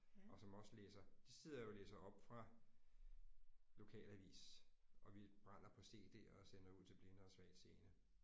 Og som også læser de sidder jo og læser op fra lokalavis og vi brænder på CD'er og sender ud til blinde og svagtseende